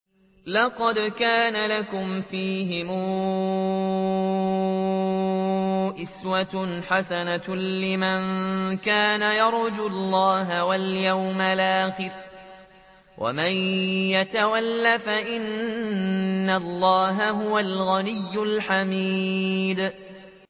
لَقَدْ كَانَ لَكُمْ فِيهِمْ أُسْوَةٌ حَسَنَةٌ لِّمَن كَانَ يَرْجُو اللَّهَ وَالْيَوْمَ الْآخِرَ ۚ وَمَن يَتَوَلَّ فَإِنَّ اللَّهَ هُوَ الْغَنِيُّ الْحَمِيدُ